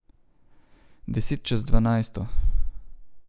Deset čez dvanajsto.